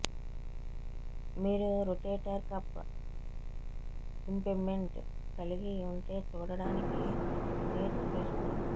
మీరు rotator cuff impingement కలిగి ఉంటే చూడటానికి నీర్స్ టెస్ట్